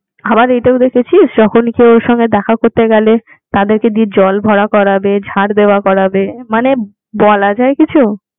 আবার এটাও দেখেছিলিস যখন ওনার সাথে কেউ দেখা করতে গেলে তাদেরকে দিয়ে জলভরা করাবে ঝাঁট দেয়া করাবে মানে বলা যায় কিসে